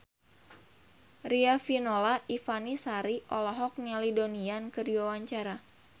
Riafinola Ifani Sari olohok ningali Donnie Yan keur diwawancara